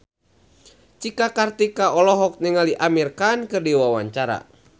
Cika Kartika olohok ningali Amir Khan keur diwawancara